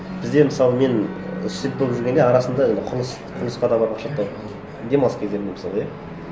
бізде мысалы мен студент болып жүргенде арасында құрылысқа да барып ақша тауып демалыс кездерімде мысалғы иә